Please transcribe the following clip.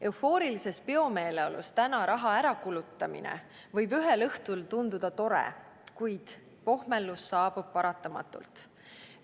Eufoorilises peomeeleolus täna raha ärakulutamine võib ühel õhtul tunduda tore, kuid pohmelus saabub paratamatult.